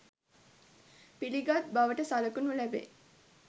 පිළිගත් බවට සලකනු ලැබේ